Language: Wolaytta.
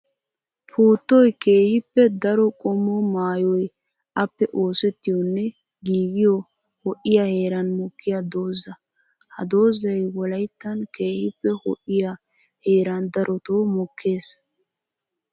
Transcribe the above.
Puuttoy keehippe daro qommo maayoy appe oosettiyonne giiggiyo ho'iya heeran mokkiya dooza. Ha doozay wolayttan keehippe ho'iya heeran darotto mokees.